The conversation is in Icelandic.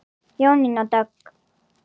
Jónína Dögg.